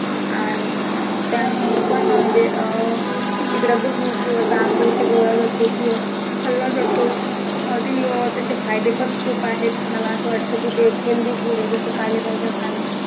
आणि त्यामुडे पण म्हणजे अं तिकडे गहू किंवा तांदूळ पिकवला जातो किंवा खाल्ला जातो आणि अं त्याचे फायदे पण खूप आहेत मला असं वाटतं कि ते healthy food आहे जसं पालेभाज्या खाणं